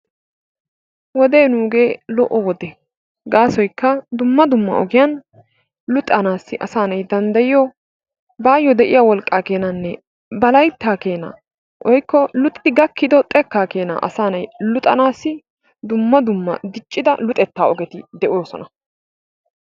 Wodee nuugee lo'o wode. Gaasoykka dumma dumma ogiyan luxanaassi asaa nay danddayiyo baayyo de'iya wolqqaa keenaanne ba layttaa keenaa woykko luxidi gakkido xekkaa keenaa asaa nay luxanaassi dumma dumma diccida luxettaa ogeti de'oosona.